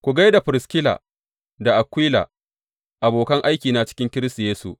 Ku gai da Firiskila da Akwila, abokan aikina cikin Kiristi Yesu.